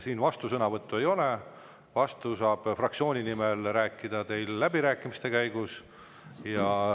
Siin vastusõnavõttu ei, vastu saab fraktsiooni nimel läbirääkimiste käigus.